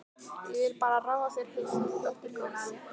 Ég vil bara ráða þér heilt, dóttir góð.